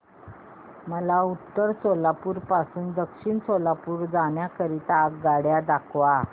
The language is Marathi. मला उत्तर सोलापूर पासून दक्षिण सोलापूर जाण्या करीता आगगाड्या दाखवा